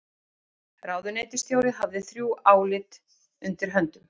Ráðuneytisstjóri hafði þrjú álit undir höndum